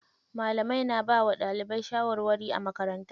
Malamai na bawa ɗalibai shawarwari a makaranta.